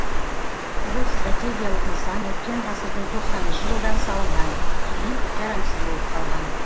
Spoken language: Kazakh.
бұл стратегиялық нысан өткен ғасырдың тоқсаныншы жылдары салынған кейін жарамсыз болып қалған